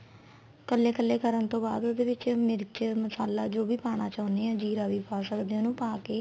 ਕੱਲੇ ਕਕੱਲੇ ਕਰਨ ਤੋਂ ਬਾਅਦ ਉਹਦੇ ਵਿੱਚ ਮਿਰਚ ਮਸਾਲਾ ਜੋ ਵੀ ਪਾਣਾ ਚਾਹੁੰਨੇ ਆ ਜੀਰਾ ਵੀ ਪਾ ਸਕਦੇ ਆ ਉਹਨੂੰ ਪਾਕੇ